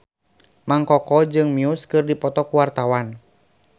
Mang Koko jeung Muse keur dipoto ku wartawan